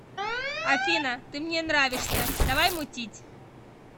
афина ты мне нравишься давай мутить